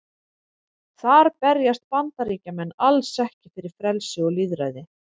Þar berjast Bandaríkjamenn alls ekki fyrir frelsi og lýðræði.